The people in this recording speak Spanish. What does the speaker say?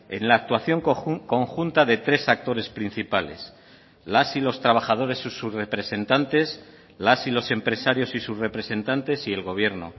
en la actuación conjunta de tres actores principales las y los trabajadores y sus representantes las y los empresarios y sus representantes y el gobierno